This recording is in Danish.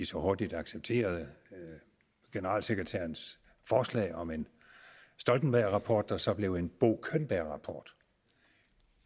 så hurtigt at acceptere generalsekretærens forslag om en stoltenbergrapport der så blev en bo könberg rapport